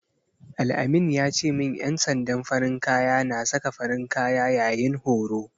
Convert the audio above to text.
Al-amin ya ce min ƴan sandan farin kaya na saka farin kaya yayin horo.